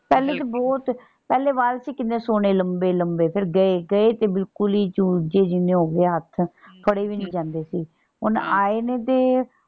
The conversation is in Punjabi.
ਪਹਿਲੇ ਤੇ ਬਹੁਤ। ਪਹਿਲੇ ਵਾਲ ਸੀ ਕਿੰਨੇ ਸੋਹਣੇ ਲੰਬੇ ਲੰਬੇ ਫੇਰ ਗਏ। ਗਏ ਤੇ ਬਿਲਕੁਲ ਹੀ ਚੂਜੇ ਜਿੰਨੇ ਹੋ ਗਏ ਹੱਥ। ਫੜੇ ਵੀ ਨੀ ਜਾਂਦੇ ਸੀ। ਹੁਣ ਆਏ ਨੇ ਤੇ।